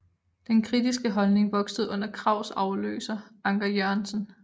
Denne kritiske holdning voksede under Krags afløser Anker Jørgensen